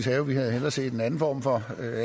have vi havde hellere set en anden form for